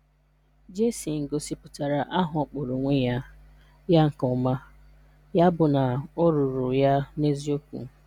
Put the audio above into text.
Jason gosipụtara aha ọ kpọrọ onwe ya ya nke ọma, ya bụ na ọ rụụrụ ya n'eziokwu.